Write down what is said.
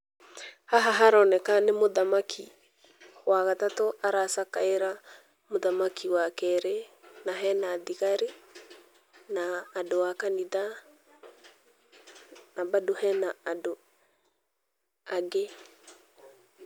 Haha haroneka nĩ mũthamak,i wa gatatũ aracakaĩra mũthamaki wa keĩrĩ na hena thigari na andũ a kanitha na bado hena andũ angĩ.